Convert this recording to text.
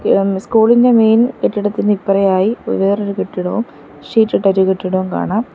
M school ഇന്റെ main കെട്ടിടത്തിന് ഇപ്പറയായി വ് വേറൊരു കെട്ടിടവും ഷീറ്റിട്ടൊരു കെട്ടിടവും കാണാം.